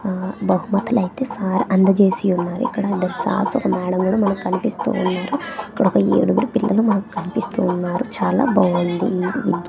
ఆ బహుమతులు అయితే సార్ అందజేసి ఉన్నారు ఇక్కడ ఇద్దరూ సార్స్ ఒక మేడమ్ కూడా మనకు కనిపిస్తూ ఉన్నారు. ఇక్కడ ఒక ఏడుగురు పిల్లలు మనకు కనిపిస్తూ ఉన్నారు చాలా బాగుంది.